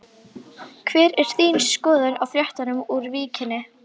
Hver er þín skoðun á fréttunum úr Víkinni?